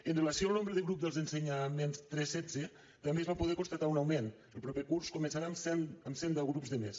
amb relació al nombre de grups dels ensenyaments tres setze també se’n va poder constatar un augment el proper curs començaran amb cent deu grups de més